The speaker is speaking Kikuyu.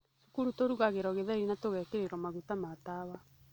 Cukuru tũrugagĩrwo gĩtheri na tũgekĩrĩrwo maguta ma tawa.